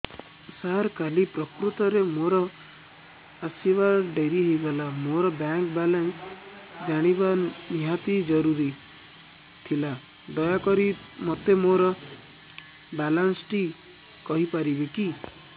ସାର କାଲି ପ୍ରକୃତରେ ମୋର ଆସିବା ଡେରି ହେଇଗଲା ମୋର ବ୍ୟାଙ୍କ ବାଲାନ୍ସ ଜାଣିବା ନିହାତି ଜରୁରୀ ଥିଲା ଦୟାକରି ମୋତେ ମୋର ବାଲାନ୍ସ ଟି କହିପାରିବେକି